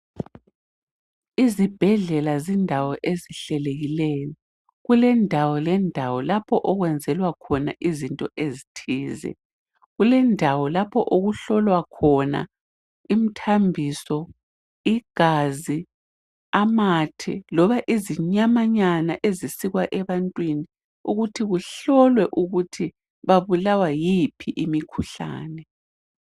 Izibhedlela zilendawo ezihlelekileyo. Kulendawo lapho okwenzelwa khona izinto ezithile. Kulendawo lapho okuhlolwa khona imthambiso, igazi amathe loba izinyamanyana ezisikwa ebantwini ukuthi kuhlolwe ukuthi babulawa yiphi imikhuhlane.